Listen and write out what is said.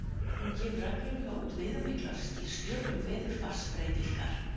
Hún gefur reglulega út viðamiklar skýrslur um veðurfarsbreytingar.